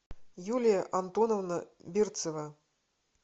юлия антоновна берцева